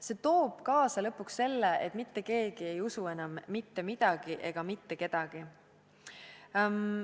See toob lõpuks kaasa selle, et mitte keegi ei usu enam mitte midagi ega mitte kedagi.